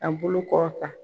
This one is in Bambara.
K'a bolo kɔrɔta.